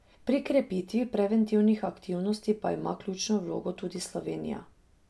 Pri krepitvi preventivnih aktivnosti pa ima ključno vlogo tudi Slovenija.